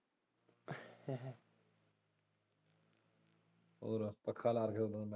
ਹੋਰ ਪੱਖਾਂ ਲਾ ਕੇ .